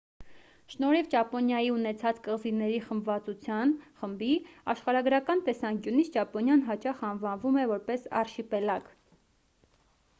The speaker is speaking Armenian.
շնորհիվ ճապոնիայի ունեցած կղզիների խմբվածության/խմբի՝ աշխարհագրական տեսանկյունից ճապոնիան հաճախ անվանվում է որպես «արշիպելագ»